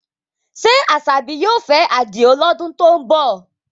Ṣé Asabi yóò fẹ́ Adio lọ́dún tó ń bọ̀?